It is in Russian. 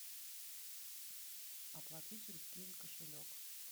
оплати через киви кошелек